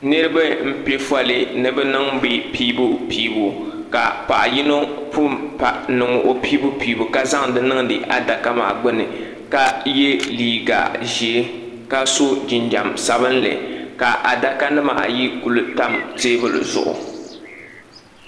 Niriba n pɛ foli nibi niŋ bi piibupiibu ka paɣa yinɔ pun niŋ o piibupiibu ka zaŋ ti niŋ di adaka bili maani ka ye liiga ʒɛɛ. ka so jinjam sabinli ka adaka nim ayi kuli tam teebuli zuɣu.